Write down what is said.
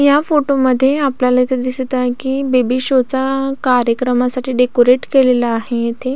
या फोटो मध्ये आपल्याला इथे दिसत आहे कि बेबी शाॅ चा अ कार्यक्रमासाठी डेकोरेट केलेलं आहे इथे.